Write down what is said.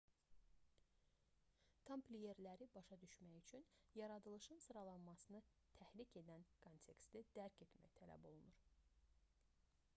tampliyerləri başa düşmək üçün yaradılışın sıralanmasını təhrik edən konteksti dərk etmək tələb olunur